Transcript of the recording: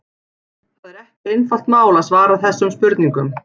Það er ekki einfalt mál að svara þessum spurningum.